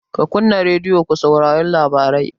Ka kunna radiyo ka saurari labarai!